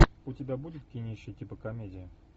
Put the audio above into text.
у тебя будет кинище типа комедии